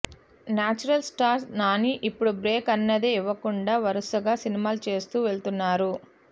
natural star Nani ఇప్పుడు break అన్నదే ఇవ్వకుండా వరుసగా సినిమాలు చేస్తూ వెళుతున్నారు